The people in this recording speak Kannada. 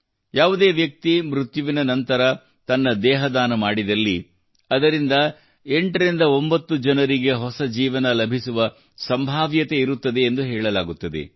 ಒಬ್ಬ ವ್ಯಕ್ತಿ ಮೃತ್ಯುವಿನ ನಂತರ ತನ್ನ ದೇಹದಾನ ಮಾಡಿದಲ್ಲಿ ಅದರಿಂದ 89 ಜನರಿಗೆ ಹೊಸ ಜೀವನ ಲಭಿಸುವ ಸಂಭಾವ್ಯತೆಯಿರುತ್ತದೆ ಎಂದು ಹೇಳಲಾಗುತ್ತದೆ